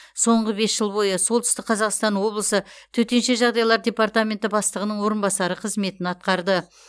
соңғы бес жыл бойы солтүстік қазақстан облысы төтенше жағдайлар департаменті бастығының орынбасары қызметін атқарды